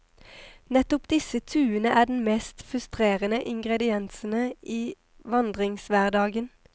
Nettopp disse tuene er den mest frustrerende ingrediensene i vandringshverdagen.